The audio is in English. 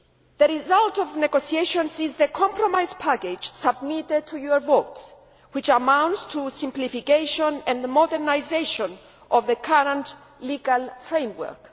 The result of the negotiations is the compromise package submitted for your vote, which amounts to simplification and modernisation of the current legal framework.